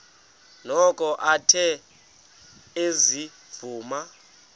noko athe ezivuma